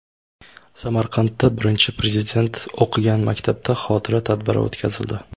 Samarqandda Birinchi Prezident o‘qigan maktabda xotira tadbiri o‘tkazildi.